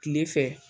Kile fɛ